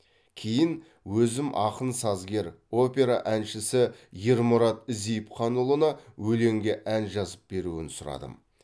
кейін өзім ақын сазгер опера әншісі ермұрат зейіпханұлына өлеңге ән жазып беруін сұрадым